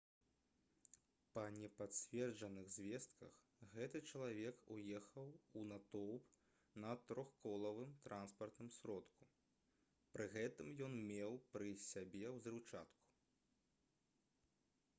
па непацверджаных звестках гэты чалавек уехаў у натоўп на трохколавым транспартным сродку пры гэтым ён меў пры сабе ўзрыўчатку